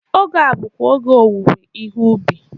Oge a bụkwa oge owuwe ihe ụbị.